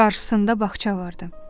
Qarşısında bağça vardı.